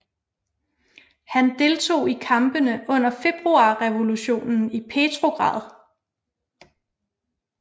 Han deltog i kampene under februarrevolutionen i Petrograd